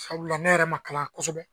ne yɛrɛ kalan kosɛbɛ